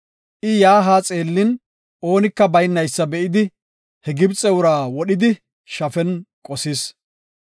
I yaa haa xeellin, oonika baynaysa be7idi, he Gibxe ura wodhidi shafen qosis.